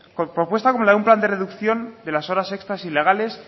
con propuesta como la de un plan de reducción de las horas extras ilegales